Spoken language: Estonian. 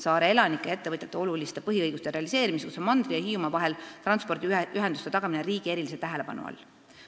Saare elanike ja ettevõtjate põhiõiguste realiseerimiseks on mandri ja Hiiumaa vahel transpordiühenduste tagamine riigi erilise tähelepanu all.